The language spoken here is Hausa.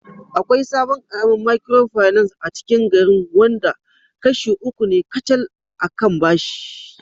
Akwai sabon karamin Micropinace acikin garin wanda kashi uku ne kacal a kan bashi